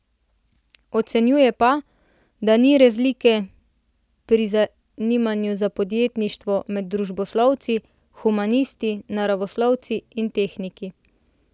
Ocenjuje pa, da ni razlike pri zanimanju za podjetništvo med družboslovci, humanisti, naravoslovci in tehniki.